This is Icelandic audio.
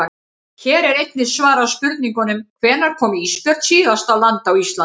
Hér er einnig svarað spurningunum: Hvenær kom ísbjörn síðast á land á Íslandi?